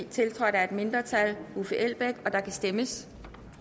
tiltrådt af et mindretal og der kan stemmes